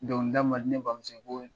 Dɔnkilida man di ne bamuso ko